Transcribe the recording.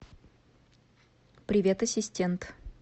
привет ассистент